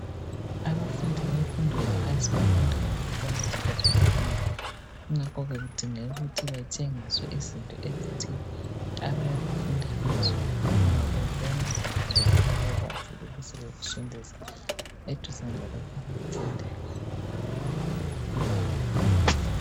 Abafundi bemfundo yaphansi bafunda ngokubona esikhathini esinengi. Kungakho ke kudingeka ukuthi batshengiswe izinto ezithile abayabe befunda ngazo ngoba bebona njalo bekwazi ukuzisondeza eduzane lalokhu abakufundayo.